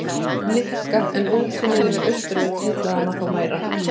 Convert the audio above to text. Nikka en útsýnið yfir Austurvöll heillaði hana þó meira.